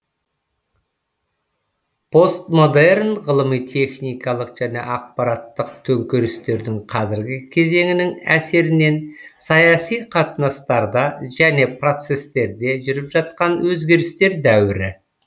постмодерн ғылыми техникалық және ақпараттық төңкерістердің қазіргі кезеңінің әсерінен саяси қатынастарда және процестерде жүріп жатқан өзгерістер дәуірі